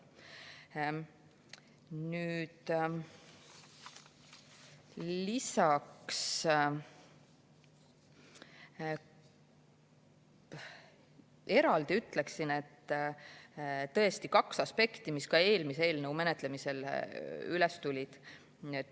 Eraldi ütleksin, et tõesti on kaks aspekti, mis ka eelmise eelnõu menetlemisel tulid.